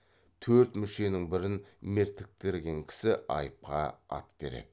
төрт мүшенің бірін мертіктірген кісі айыпқа ат береді